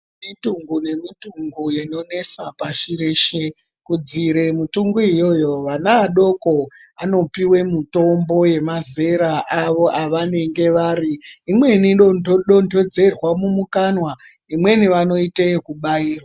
Kune mitungu nemitungu inonesa pashi reshe, kudziirire mitungu iyoyo vana vadoko anopuwe mutombo wemazera awo avanenge vari. Imweni inodontodzerwa mumukanwa, imweni vanoite ekubairwa.